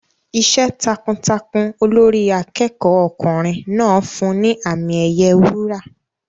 Iṣẹ́ takuntakun Olórí akẹ́kọ̀ọ́ ọkùnrin náà fún un ní àmì ẹ̀yẹ wúrà.